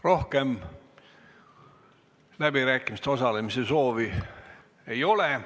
Rohkem läbirääkimistes osalemise soovi ei ole.